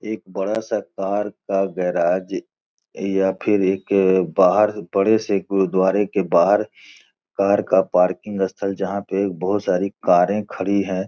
एक बड़ा सा पार्क का गैराज या फिर एक बाहर से बड़े से गुरुद्वारे के बाहर पार्क का पार्किंग स्थल जहाँ पे बहुत सारी करे खड़ी हैं।